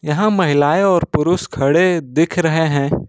यहां महिलाएं और पुरुष खड़े दिख रहे हैं।